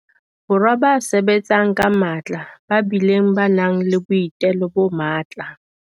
Borwa ba sebetsang ka matla ba bileng ba nang le boitelo bo matla.